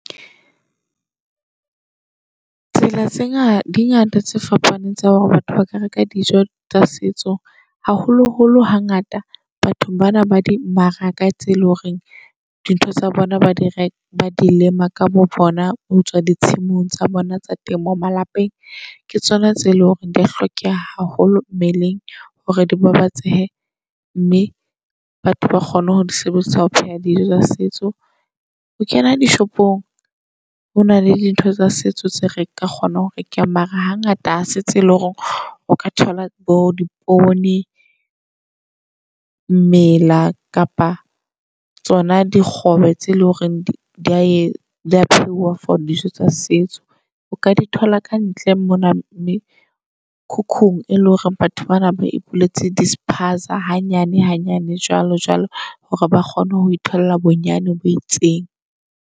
Tsela tse ngata di ngata tse fapaneng tsa hore batho ba ka reka dijo tsa setso. Haholo holo hangata bathong bana ba dimmaraka tse eleng hore dintho tsa bona ba dire ba di lema ka bo bona. Ho tswa di tshimong tsa bona tsa temo malapeng, ke tsona tse e leng hore di a hlokeha haholo mmeleng. Hore di babatsehe, mme batho ba kgone ho di sebedisa ho pheha dijo tsa setso. Ho kena dishopong hona le dintho tsa setso tseo re ka kgona hore ke mara hangata ha se tse e leng hore o ka thola bo di poone. Mmela kapa tsona di kgobe tse e leng hore dia e dia phehuwa for dijo tsa setso. O ka di thola kantle mona mekhukhung e leng hore batho bana ba e puletse di-spaza. Hanyane hanyane jwalo jwalo hore ba kgone ho itholla bonyane bo itseng.